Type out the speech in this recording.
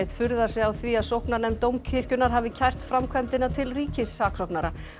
furðar sig á því að sóknarnefnd Dómkirkjunnar hafi kært framkvæmdina til ríkissaksóknara